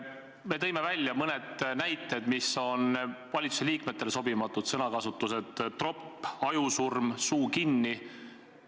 Me tõime välja mõned näited valitsusliikmele sobimatu sõnakasutuse kohta: "tropid", "ajusurm", "suu kinni!".